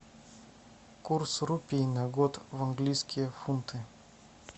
курс рупий на год в английские фунты